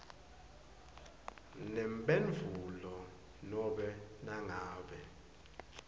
nemphendvulo nobe nangabe